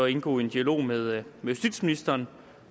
indgå i en dialog med justitsministeren